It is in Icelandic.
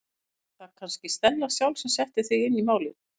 Eða var það kannski Stella sjálf sem setti þig inn í málin?